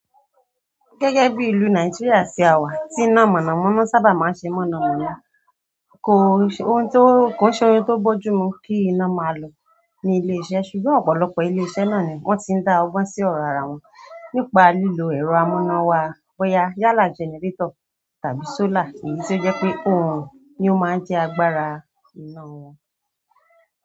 Gẹ́gẹ́ bi ìlú Nigeria ti a wa ti ina mọ̀nàmọ́ná sábà maa n se mọ́namọ́na ko n shey oun to boju mu ki ina maa lọ ni ile iṣẹ́ ṣùgbọ́n ọ̀pọ̀lọpọ̀ ilé iṣẹ́ náà ni wọ́n ti dá ọgbọ́n sí ọ̀rọ̀ ara wọn nípa lílo ẹ̀rọ amúnáwá bóyá yálà generator tàbí solar èyí tó jẹ́ pé oorun ni ó máa ń jẹ́ agbára iná wọn.